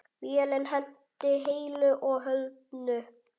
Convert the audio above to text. Vélin lenti heilu og höldnu.